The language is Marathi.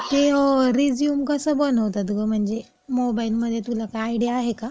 की ओ रिझ्यूम कसं बनवतात गं, म्हणजे? मोबाइलमध्ये, तुला काही आयडिया आहे का?